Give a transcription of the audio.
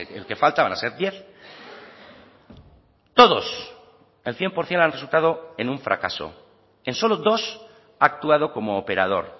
el que falta van a ser diez todos el cien por ciento han resultado en un fracaso en solo dos ha actuado como operador